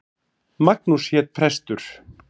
Magnús hét prestur.